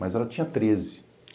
Mas ela tinha treze.